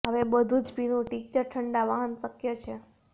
હવે બધું જ પીણું ટિંકચર ઠંડા વાહન શક્ય છે